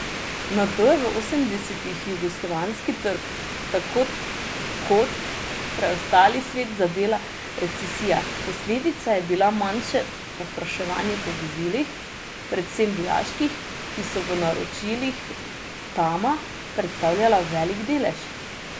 Nato je v osemdesetih jugoslovanski trg, tako kot preostali svet, zadela recesija, posledica je bilo manjše povpraševanje po vozilih, predvsem vojaških, ki so v naročilih Tama predstavljala velik delež.